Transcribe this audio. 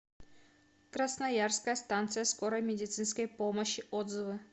красноярская станция скорой медицинской помощи отзывы